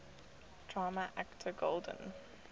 drama actor golden